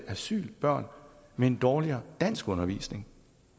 asylbørn med dårligere danskundervisning